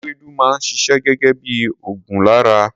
Ewédú máa ń ṣiṣẹ́ gẹgẹ bí ògùn lára.